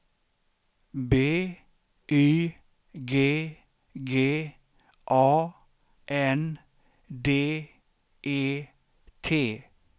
B Y G G A N D E T